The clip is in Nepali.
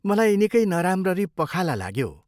मलाई निकै नराम्ररी पखाला लाग्यो।